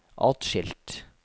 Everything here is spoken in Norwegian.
atskilt